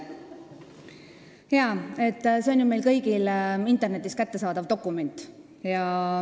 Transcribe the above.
See on ju meile kõigile internetis kättesaadav dokument.